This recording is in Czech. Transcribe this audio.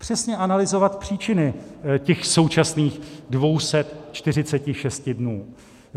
Přesně analyzovat příčiny těch současných 246 dnů.